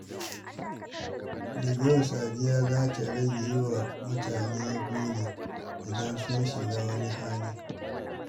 Daga yau, Safiya za ta rage yi wa mutane gori idan sun shiga wani hali.